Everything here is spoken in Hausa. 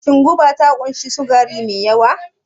Shin goba ta ƙunshi sukari mai yawa?